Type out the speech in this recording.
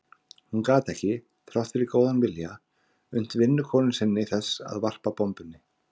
Hún gat ekki, þrátt fyrir góðan vilja, unnt vinnukonu sinni þess að varpa bombunni.